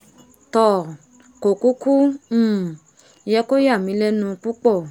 toò kò kúkú um yẹ kó yàmí lẹ́nu púpọ̀